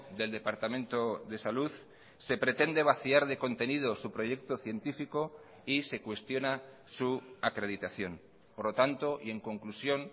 del departamento de salud se pretende vaciar de contenido su proyecto científico y se cuestiona su acreditación por lo tanto y en conclusión